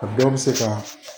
A dɔw bɛ se ka